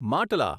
માટલા